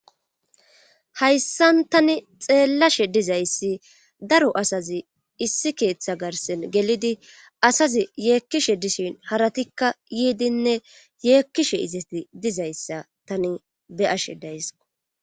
hayssan tani xeellashe dizayssi daro asazi issi keeththa garsen gelidi asazi yeekkishe dishin haratikka yiidinne yeekkishe izeti dizayssa tani be ashe daysqo